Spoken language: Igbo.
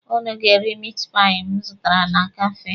Ụnụ ga-eri mit pai m zụtara na kafee.